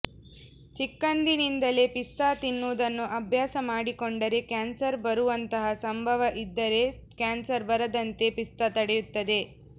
ಚಿಕ್ಕಂದಿನಿಂದಲೇ ಪಿಸ್ತಾ ತಿನ್ನುವುದನ್ನು ಅಭ್ಯಾಸ ಮಾಡಿಕೊಂಡರೆ ಕ್ಯಾನ್ಸರ್ ಬರುವಂತಹ ಸಂಭವ ಇದ್ದರೆ ಕ್ಯಾನ್ಸರ್ ಬರದಂತೆ ಪಿಸ್ತಾ ತಡೆಯುತ್ತದೆ